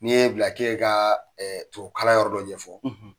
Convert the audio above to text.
N'i y'e bila j'en ka tubabukalan yɔrɔ dɔ ɲɛfɔ